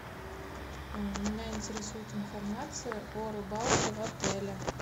меня интересует информация о рыбалке в отеле